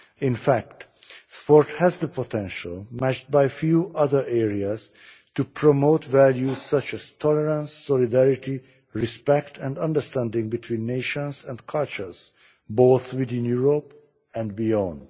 In fact, sport has the potential, matched by few other areas, to promote values such as tolerance, solidarity, respect and understanding between nations and cultures both within Europe and beyond.